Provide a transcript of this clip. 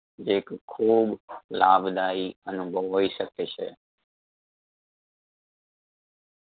જે ક ખૂબ લાભદાયી અનુભવ હોઈ શકે છે.